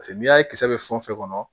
Paseke n'i y'a ye kisɛ bɛ fɛn o fɛn kɔnɔ